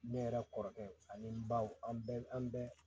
Ne yɛrɛ kɔrɔkɛ ani n baw an bɛɛ an bɛɛ